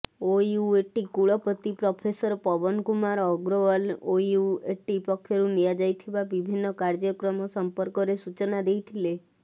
OUAT କୁଳପତି professor Pawan Kumar Agrawal OUAT ପକ୍ଷରୁ ନିଆଯାଇଥିବା ବିଭିନ୍ନ କାର୍ଯ୍ୟକ୍ରମ ସମ୍ପର୍କରେ ସୂଚନା ଦେଇଥିଲେ